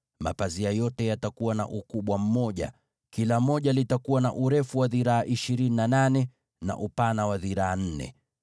Mapazia yote yatatoshana kwa ukubwa: kila moja litakuwa na urefu wa dhiraa ishirini na nane, na upana wa dhiraa nne